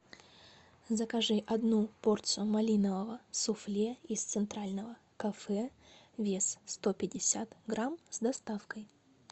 закажи одну порцию малинового суфле из центрального кафе вес сто пятьдесят грамм с доставкой